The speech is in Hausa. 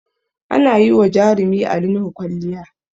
Ana yi wa jarumi Ali Nuhu kwalliya